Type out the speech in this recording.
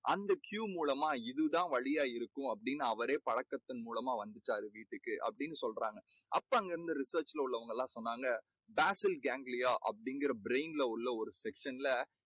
அந்த Q மூலமா இதுதான் வழியா இருக்கும்னு அவரே பழக்கத்தின் மூலமா வந்துட்டாரு வீட்டுக்கு அப்படின்னு சொல்றாங்க. அப்போ அங்க இருந்த research ல உள்ளவங்க எல்லாம் சொன்னாங்க basal ganglia அப்படீங்கற brain ல உள்ள section ல